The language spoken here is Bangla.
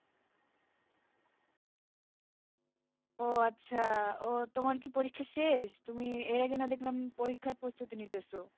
ও আচ্ছা, ও তোমার কি পরীক্ষা শেষ? তুমি এর আগে না দেখলাম পরীক্ষার প্রস্তুতি নিতেছে